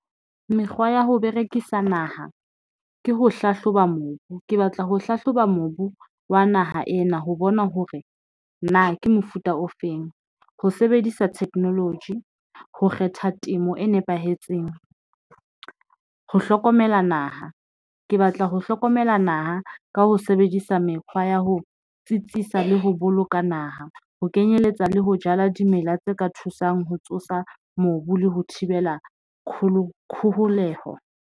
Mekgwa ya ho berekisa naha ke ho hlahloba mobu. Ke batla ho hlahloba mobu wa naha ena ho bona hore na ke mofuta ofeng, ho sebedisa technology ho kgetha temo e nepahetseng. Ho hlokomela naha ke batla ho hlokomela naha ka ho sebedisa mekgwa ya ho tsitsisa le ho boloka naha ho kenyeletsa le ho jala dimela tse ka thusang ho tsosa mobu le ho thibela kgoholeho.